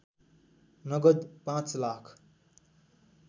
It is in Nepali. नगद पाँच लाख